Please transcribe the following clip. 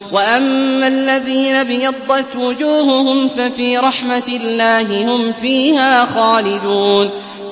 وَأَمَّا الَّذِينَ ابْيَضَّتْ وُجُوهُهُمْ فَفِي رَحْمَةِ اللَّهِ هُمْ فِيهَا خَالِدُونَ